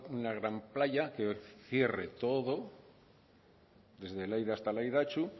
una gran playa que cierre todo desde laida hasta laidatxu